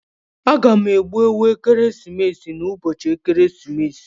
A ga-egbu ewu ekeresimesi n'ụbọchị ekeresimesi.